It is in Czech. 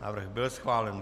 Návrh byl schválen.